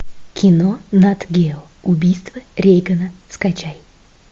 кино нат гео убийство рейгана скачай